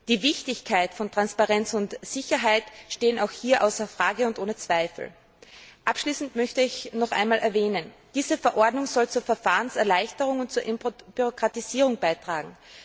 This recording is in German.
Die Wichtigkeit von Transparenz und Sicherheit steht auch hier außer Frage. Abschließend möchte ich noch einmal betonen Diese Verordnung soll zur Verfahrenserleichterung und zur Entbürokratisierung beitragen.